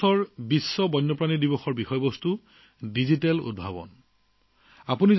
এইবাৰ বিশ্ব বন্যপ্ৰাণী দিৱসৰ বিষয়বস্তুৱে ডিজিটেল উদ্ভাৱনক আগস্থানত ৰাখিছে